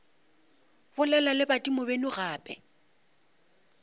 bolela le badimo beno gape